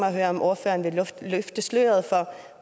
at høre om ordføreren vil løfte sløret for